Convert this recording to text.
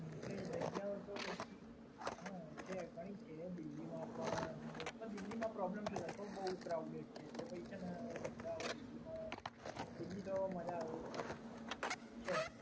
હા એટલે એ જગ્યા તો પછી. હંમ છે કઈ છે દિલ્હીમાં પણ દિલ્હીમાં પ્રોબ્લેમ શું થાય કહું બોવ ક્રાઉડેડ છે એટલે પહિ છેને મજા આવે દિલ્હીમાં, દિલ્હી તો મજા આવે એવું છે જ.